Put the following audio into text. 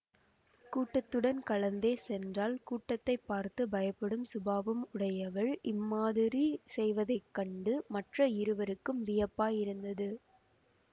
கூட்டத்துடன் கலந்தே சென்றாள் கூட்டத்தை பார்த்து பயப்படும் சுபாவம் உடையவள் இம்மாதிரி செய்வதை கண்டு மற்ற இருவருக்கும் வியப்பாயிருந்தது